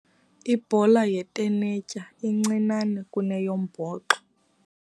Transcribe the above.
Ibhola yetenetya incinane kuneyombhoxo